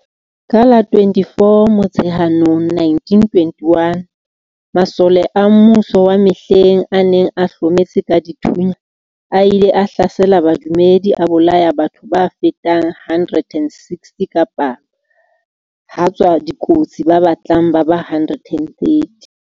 Ka la 24 Motsheanong 1921, masole a mmuso wa mehleng a neng a hlometse ka dithunya a ile a hlasela badumedi a bolaya batho ba fetang 160 ka palo ha tswa dikotsi ba batlang ba ba 130.